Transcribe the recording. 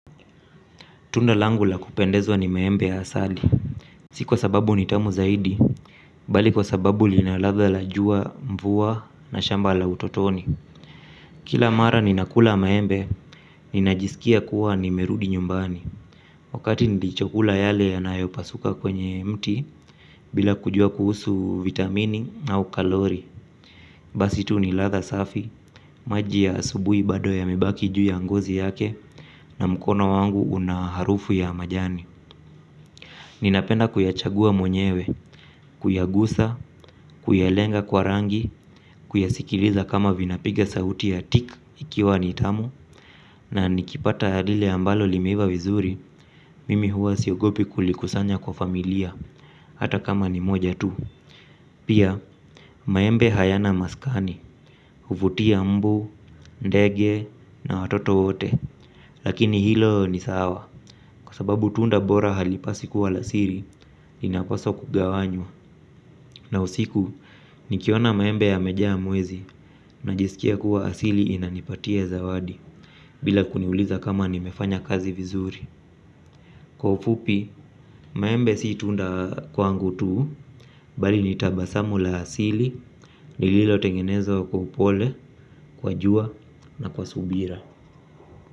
Tunda langu la kupendezwa ni maembe ya asali. Si kwa sababu ni tamu zaidi. Bali kwa sababu lina ladha la jua mvua na shamba la utotoni. Kila mara ninakula maembe. Ninajisikia kuwa nimerudi nyumbani. Wakati nilichokula yale yanayopasuka kwenye mti bila kujua kuhusu vitamini au kalori basi tu ni ladha safi. Maji ya asubuhi bado yamebaki juu ya ngozi yake. Na mkono wangu una harufu ya majani. Ninapenda kuyachagua mwenyewe, kuyagusa, kuyalenga kwa rangi, kuyasikiliza kama vinapiga sauti ya tik ikiwa nitamu. Na nikipata lile ambalo limeiva vizuri, mimi huwa siogopi kulikusanya kwa familia, hata kama ni moja tu. Pia, maembe hayana maskani, huvutia mbu, ndege na watoto wote. Lakini hilo ni sawa. Kwa sababu tunda bora halipaswi kuwa la siri linapaswa kugawanywa. Na usiku nikiona maembe yamejaa mwezi najisikia kuwa asili inanipatia zawadi. Bila kuniuliza kama nimefanya kazi vizuri. Kwa ufupi maembe si tunda kwangu tu. Bali ni tabasamu la asili lililotengenezwa kwa pole. Kwa jua na kwa subira.